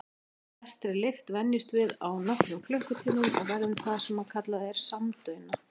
Flestri lykt venjumst við á nokkrum klukkutímum og verðum það sem er kallað samdauna.